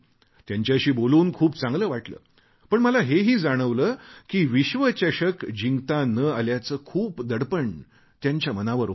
त्यांच्याशी बोलून खूप चांगले वाटले पण मला हे ही जाणवले की विश्वचषक जिंकता न आल्याचे खूप दडपण त्यांच्या मनावर होते